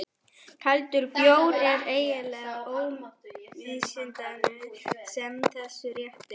Kaldur bjór er eiginlega ómissandi með þessum rétti.